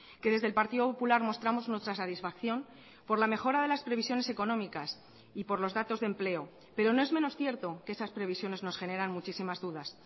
que desde el partido popular mostramos nuestra satisfacción por la mejora de las previsiones económicas y por los datos de empleo pero no es menos cierto que esas previsiones nos generan muchísimas dudas